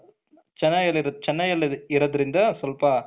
ಚೆನ ಚೆನ್ನೈಯಲ್ಲಿ ಇರೋದ್ರಿಂದ ಸ್ವಲ್ಪ